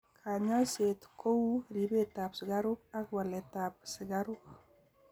Kanyoiset ko u ribetab sikaruk ak waletab sikaruk.